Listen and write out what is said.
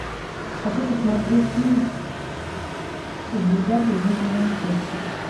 хочу посмотреть фильм звезда пленительного счастья